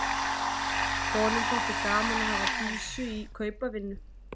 Honum þótti gaman að hafa Dísu í kaupavinnu.